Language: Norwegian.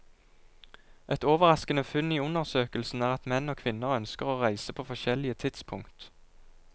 Et overraskende funn i undersøkelsen er at menn og kvinner ønsker å reise på forskjellig tidspunkt.